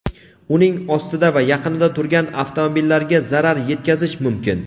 uning ostida va yaqinida turgan avtomobillarga zarar etkazishi mumkin.